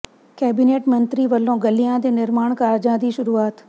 cabinet ਮੰਤਰੀ ਵੱਲੋਂ ਗਲੀਆਂ ਦੇ ਨਿਰਮਾਣ ਕਾਰਜਾਂ ਦੀ ਸ਼ੁਰੂਆਤ